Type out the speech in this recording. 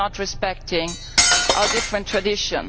you are not respecting our different traditions.'